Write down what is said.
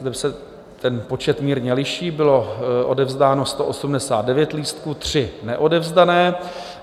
Zde se ten počet mírně liší, bylo odevzdáno 189 lístků, 3 neodevzdané.